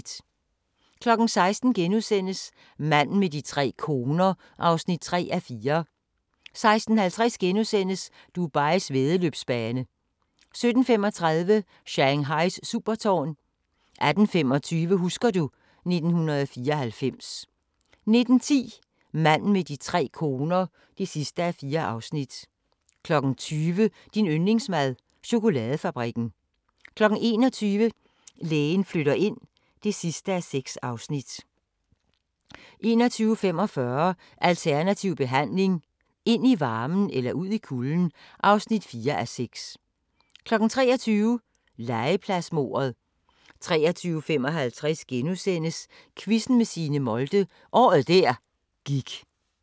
16:00: Manden med de tre koner (3:4)* 16:50: Dubais væddeløbsbane * 17:35: Shanghais supertårn 18:25: Husker du ... 1994 19:10: Manden med de tre koner (4:4) 20:00: Din yndlingsmad: Chokoladefabrikken 21:00: Lægen flytter ind (6:6) 21:45: Alternativ behandling – ind i varmen eller ud i kulden? (4:6) 23:00: Legepladsmordet 23:55: Quizzen med Signe Molde – året der gik *